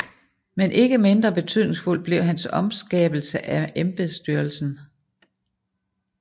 Men ikke mindre betydningsfuld blev hans omskabelse af embedsstyrelsen